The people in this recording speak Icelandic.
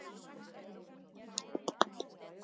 Fór ekki leynt með að henni var farið að leiðast þófið.